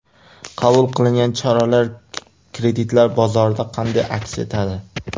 Qabul qilingan choralar kreditlar bozorida qanday aks etadi?